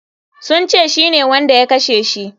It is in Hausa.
Sun ce shine wanda ya kashe shi.